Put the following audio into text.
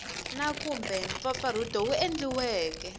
na kumbe mpfampfarhuto wu endliweke